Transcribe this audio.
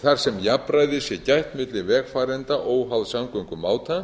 þar sem jafnræðis er gætt milli vegfarenda óháð samgöngumáta